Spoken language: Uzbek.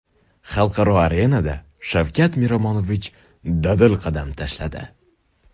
Xalqaro arenada Shavkat Miromonovich dadil qadam tashladi.